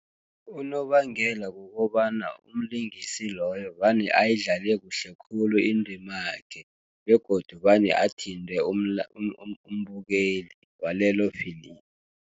Unobangela kukobana, umlingisi loyo vane ayidlale kuhle khulu indimakhe, begodu vane athinte umbukeli walelo filimu.